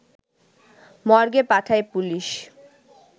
মর্গে পাঠায় পুলিশ